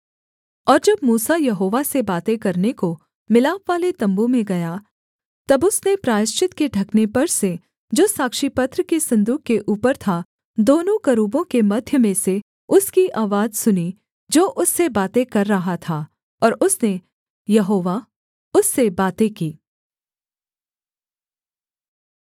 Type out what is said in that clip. और जब मूसा यहोवा से बातें करने को मिलापवाले तम्बू में गया तब उसने प्रायश्चित के ढकने पर से जो साक्षीपत्र के सन्दूक के ऊपर था दोनों करूबों के मध्य में से उसकी आवाज सुनी जो उससे बातें कर रहा था और उसने यहोवा उससे बातें की